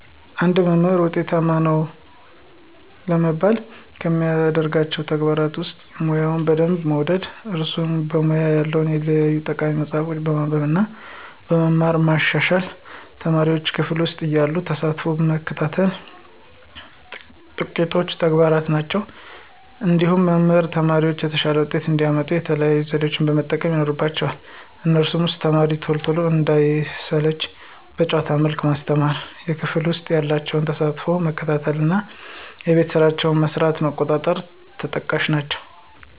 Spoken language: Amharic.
አንድ መምህር ውጤታማ ነው ለመባል ከሚያደርጋቸው ተግባራት ውስጥ፦ ሙያውን በሚገባ መውደድ፣ እራሱን በሙያው ያሉ የተለያዩ ጠቃሚ መፅሀፎችን በማንበብ እና በመማር ማሻሻል፣ ተማሪዎቹን ክፍል ውሰጥ ያላቸውን ተሳትፎ መከታተል ጥቂቶቹ ተግባራት ናቸው። እንዲሁም መምህራን ተማሪዎቻቸው የተሻለ ውጤት እንዲያመጡ የተለያዩ ዘዴዎችን መጠቀም ይኖርባቸዋል ከነሱም ውስጥ፦ ተማሪዎቹ ቶሎ እንዳይሰለቹ በጨዋታ መልክ ማስተማር፣ የክፍል ውስጥ ያላቸውን ተሳትፎ መከታተል እና የቤት ስራቸውን መስራታቸውን መቆጣጠር ተጠቃሽ ናቸው።